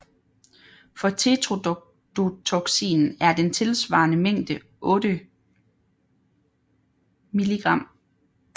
For tetrodotoksin er den tilsvarende mængde 8 μg